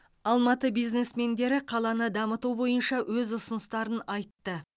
алматы бизнесмендері қаланы дамыту бойынша өз ұсыныстарын айтты